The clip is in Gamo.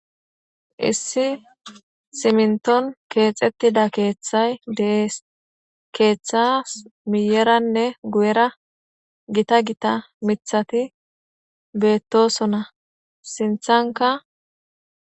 Issi simnton keexettida keeththay dees keeththas miyeranne gu7era gita gita mithati beettosona sinthanka.